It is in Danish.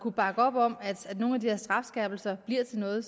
kunne bakke op om at nogle af de her strafskærpelser bliver til noget